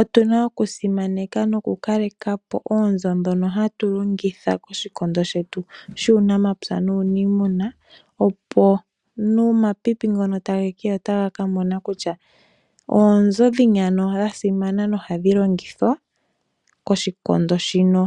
Otuna okusimaneka nokukalekapo oonzo ndhoka hatu longitha koshikondo shetu shuunamapya nuuniimuna. Opo nomapipi ngono tage keya otaga kamona kutya oonzo dhini dhasimana nohadhi longithwa koshikondo shino